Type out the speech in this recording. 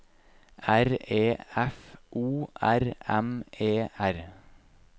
R E F O R M E R